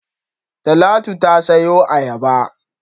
Talatu ta sayo ayaba.